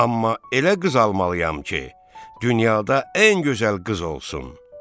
Amma elə qız almalıyam ki, dünyada ən gözəl qız olsun.